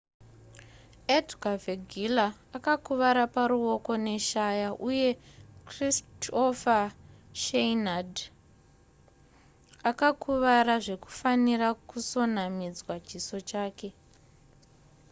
edgar veguilla akakuvara paruoko neshaya uye kristoffer schneider akakuvara zvekufanira kusonanidzwa chiso chake